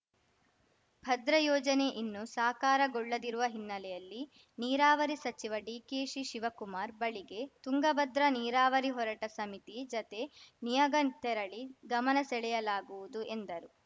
ಭದ್ರಾ ಯೋಜನೆ ಇನ್ನು ಸಾಕಾರಗೊಳ್ಳದಿರುವ ಹಿನ್ನೆಲೆಯಲ್ಲಿ ನೀರಾವರಿ ಸಚಿವ ಡಿಕೆಶಿ ಶಿವಕುಮಾರ್‌ ಬಳಿಗೆ ತುಂಗ ಭದ್ರಾ ನೀರಾವರಿ ಹೋರಾಟ ಸಮಿತಿ ಜತೆ ನಿಯೋಗ ತೆರಳಿ ಗಮನ ಸೆಳೆಯಲಾಗುವುದು ಎಂದರು